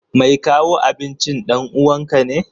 Mai kawo abincin ɗan uwanka ne?